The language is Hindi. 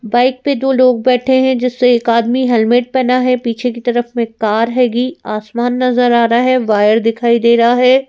बाइक पे दो लोग बैठे हैं जिससे एक आदमी हेलमेट पहना है पीछे की तरफ में कार हैगी आसमान नजर आ रहा है वायर दिखाई दे रहा है।